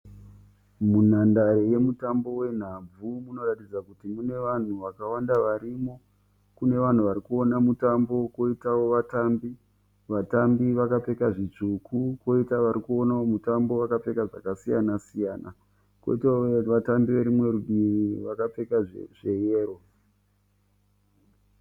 Munhandare yemutambo hwenhabvu unoratidza kuti unevanhu vakawanda varimo. Kune vanhu varikuona mutambo koitawo vatambi, vatambi vakapfeka zvitsvuku koita varikuonawo mutambo vakapfeka zvakasiyana siyana koitawo vatambi verimwe rutivi vakapfeka zveyero.